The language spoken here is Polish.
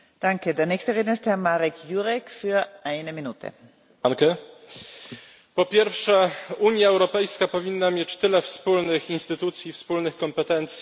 Po pierwsze, Unia Europejska powinna mieć tyle wspólnych instytucji i wspólnych kompetencji, ile nasze państwa mają wspólnych wartości i wspólnych interesów.